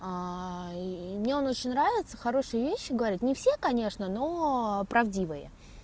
и и мне он очень нравится хорошие вещи говорит не все конечно но правдивые